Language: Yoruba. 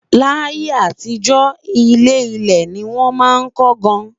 là yé àtijó, ilé ilé ní wón má kò gaan